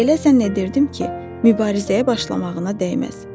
Elə zənn edirdim ki, mübarizəyə başlamağına dəyməz.